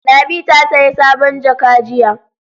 Lami ta saya sabon jaka jiya.